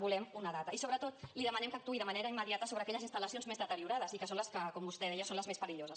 volem una data i sobretot li demanem que actuï de manera immediata sobre aquelles instal·lacions més deteriorades i que són les que com vostè deia són les més perilloses